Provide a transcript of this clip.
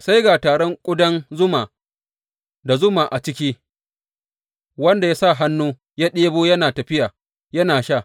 Sai ga taron ƙudan zuma da zuma a ciki, wanda ya sa hannu ya ɗebo yana tafiya yana sha.